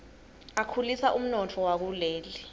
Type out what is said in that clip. akhulisa umnotfo wakuleli